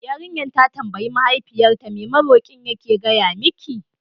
Yarinyar ta tambayi Mahaifiyarsa, me maroƙi yake gaya miki?